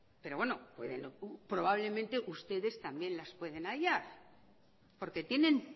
pero bueno pueden probablemente ustedes también las pueden hallar porque tienen